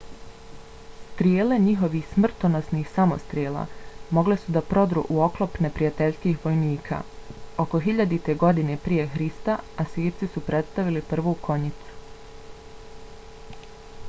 strijele njihovih smrtonosnih samostrela mogle su da prodru u oklop neprijateljskih vojnika. oko 1000. godine prije hrista asirci su predstavili prvu konjicu